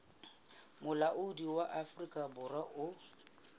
molaotheo wa afrika borwa o